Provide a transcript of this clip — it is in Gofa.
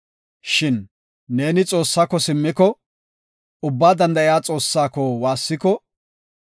Shin neeni Xoossaako simmiko, Ubbaa Danda7iya Xoossaa woossiko,